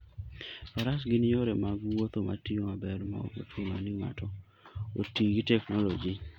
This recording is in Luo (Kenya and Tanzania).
Faras gin yore mag wuoth matiyo maber maok ochuno ni ng'ato oti gi teknoloji.